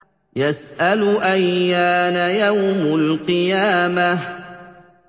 يَسْأَلُ أَيَّانَ يَوْمُ الْقِيَامَةِ